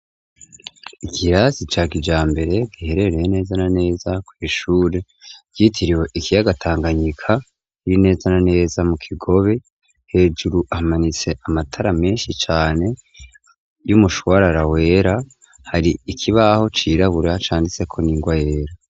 Ikirasi ca kijambere giherereye neza na neza kw'ishuri ryitiriwe ikiyaga Tanganyika riri neza na neza mu Kigobe hejuru hamanitse amatara meshi cane y'umushwarara wera hari ikibaho cirabura canditseko n'ingwa yera.